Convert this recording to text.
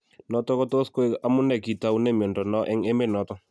Notok kotos koeng amunee kitaune miondo noo eng emet notok